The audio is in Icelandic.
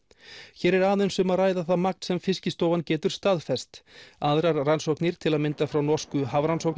hér er aðeins um að ræða það magn sem Fiskistofan getur staðfest aðrar rannsóknir til að mynda frá norsku